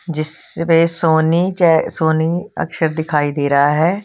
जिससे सोनी के सोनी अक्षर दिखाई दे रहा है।